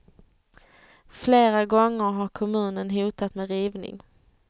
Flera gånger har kommunen hotat med rivning.